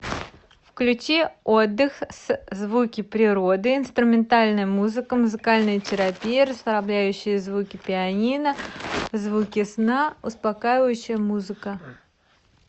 включи отдых с звуки природы инструментальная музыка музыкальная терапия расслабляющие звуки пианино звуки сна успокаивающая музыка